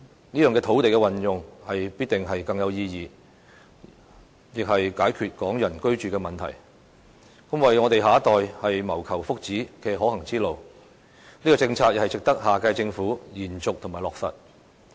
這樣的土地運用必定更有意義，亦可解決港人居住的問題，是為我們下一代謀求福祉的可行之路，這項政策亦值得下屆政府延續及落實。